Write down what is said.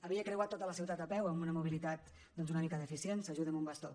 havia creuat tota la ciutat a peu amb una mobilitat doncs una mica deficient s’ajuda amb un bastó